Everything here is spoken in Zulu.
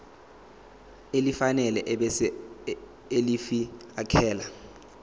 elifanele ebese ulifiakela